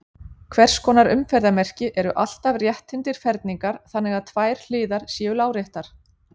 Hvers konar umferðarmerki eru alltaf rétthyrndir ferhyrningar þannig að tvær hliðar séu láréttar?